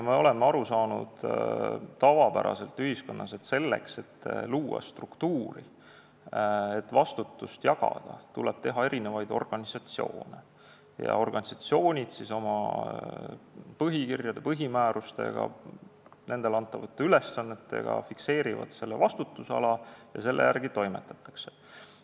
Me oleme ühiskonnas tavapäraselt aru saanud, et struktuuri loomiseks, et vastutust jagada, tuleb teha erinevaid organisatsioone ning organisatsioonid oma põhikirjade ja põhimäärustega, nendele antavate ülesannetega fikseerivad vastutusala ja selle järgi toimetataksegi.